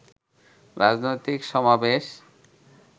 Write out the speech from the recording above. রাজনৈতিক সমাবেশ